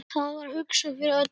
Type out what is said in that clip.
Það var hugsað fyrir öllu.